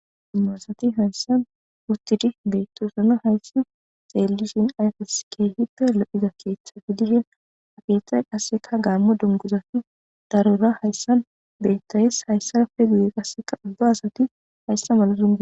dummaasati hayssan wuttidi beyttousana hayssi xeellishin ayfes ke hipe lo7iza keeththa gi dishen akeeththay qasseka gaammo donguzafi darura hayssan bettayes hayssa pedi7e qasseka ubba asati hayssa mala duga